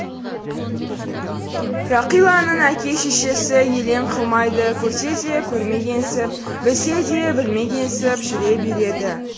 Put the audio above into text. рақиланың әке шешесі елең қылмайды көрсе де көрмегенсіп білсе де білмегенсіп жүре береді